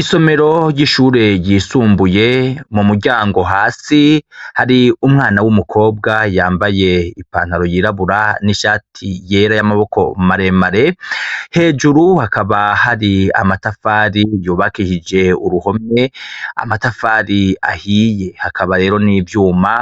Isomero ry'ishure ryisumbuye, mu muryango hasi, hari umwana w'umukobwa yambaye ipantaro yirabura n'ishati yera y'amaboko maremare, hejuru hakaba hari amatafari yubakishije uruhome, amatafari ahiye. Hakaba rero n'ivyuma